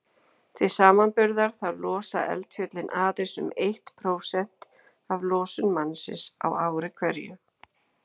Til samanburðar þá losa eldfjöllin aðeins um eitt prósent af losun mannsins á ári hverju.